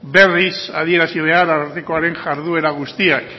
berriz adierazi behar arartekoaren jarduera guztiak